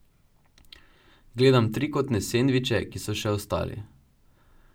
Gledam trikotne sendviče, ki so še ostali.